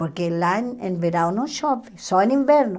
Porque lá em verão não chove, só em inverno.